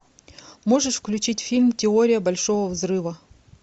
можешь включить фильм теория большого взрыва